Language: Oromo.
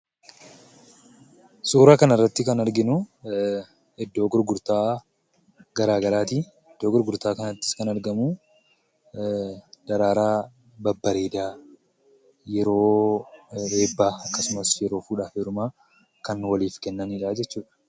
Suuraa kanarratti kan arginu iddoo gurgurtaa garaagaraati. Iddoo gurgurtaa kanattis kan argamu, daraaraa babbareedaa yeroo eebbaa akkasumas yeroo fuudhaaf heerumaa kan waliif kennanidha jechuudha.